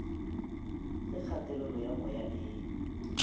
ge kgatelelo ya moya e